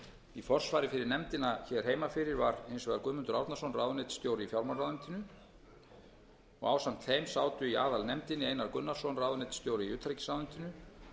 í forsvari fyrir nefndina hér heima fyrir var hins vegar guðmundur árnason ráðuneytisstjóri í fjármálaráðuneytinu ásamt þeim sátu í aðalnefndinni einar gunnarsson ráðuneytisstjóri í